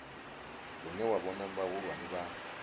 hune wa vhona vhahulwane vha